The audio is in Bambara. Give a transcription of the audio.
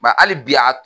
Ba hali bi a